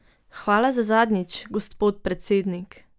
Hvala za zadnjič, gospod predsednik.